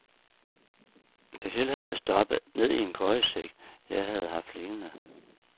Det hele havde jeg stoppet ned i en køjesæk, jeg havde haft liggende.